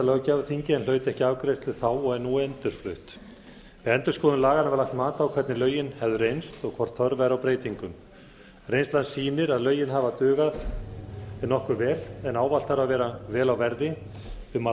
löggjafarþingi en hlaut ekki afgreiðslu þá og er nú endurflutt við endurskoðun laganna var lagt mat á hvernig lögin hefðu reynt og hvort þörf væri á breytingum reynslan nýr að lögin hafa dugað nokkuð vel en ávallt þarf að vera vel á verði um að